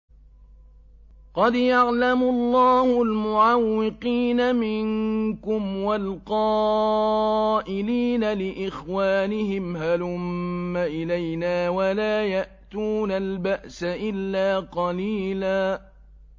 ۞ قَدْ يَعْلَمُ اللَّهُ الْمُعَوِّقِينَ مِنكُمْ وَالْقَائِلِينَ لِإِخْوَانِهِمْ هَلُمَّ إِلَيْنَا ۖ وَلَا يَأْتُونَ الْبَأْسَ إِلَّا قَلِيلًا